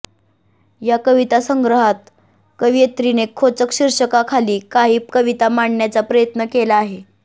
या कविता संग्रहात कवयित्रीने खोचक शीर्षकाखाली काही कविता मांडण्याचा प्रयत्न केला आहे